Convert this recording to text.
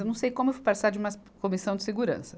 Eu não sei como eu fui participar de uma comissão de segurança.